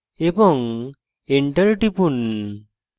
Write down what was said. এবং enter টিপুন